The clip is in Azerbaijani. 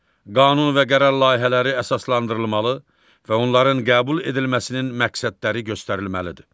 Qanun və qərar layihələri əsaslandırılmalı və onların qəbul edilməsinin məqsədləri göstərilməlidir.